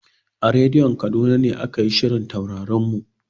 A rediyo Kaduna ne aka yi shirin Taurarin mu.